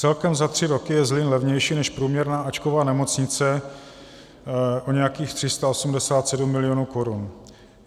Celkem za tři roky je Zlín levnější než průměrná áčková nemocnice o nějakých 387 mil. korun.